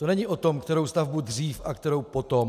To není o tom, kterou stavbu dřív a kterou potom.